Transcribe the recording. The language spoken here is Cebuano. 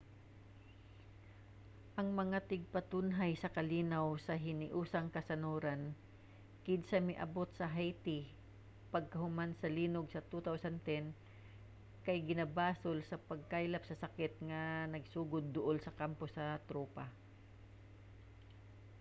ang mga tigpatunhay sa kalinaw sa hiniusang kanasoran kinsa miabot sa haiti pagkahuman sa linog sa 2010 kay ginabasol sa pagkaylap sa sakit nga nagsugod duol sa kampo sa tropa